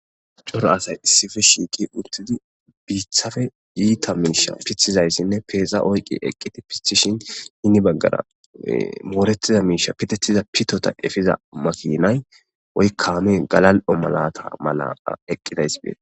Coro asay issife shiiqi uttidi biithafe yiita miisha pithizayssinne peeza oyqi eqqiti pithishin hini baggara mooretiza miisha pitettiza pitota efiza makinay woykkaame galal7o malata mala eqqidays bee.